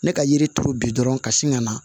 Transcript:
Ne ka yiri turu bi dɔrɔn ka sin ka na